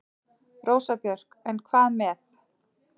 Rósa Björk: En hvað með.